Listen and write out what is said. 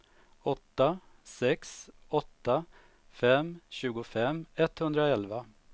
åtta sex åtta fem tjugofem etthundraelva